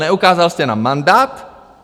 Neukázal jste nám mandát.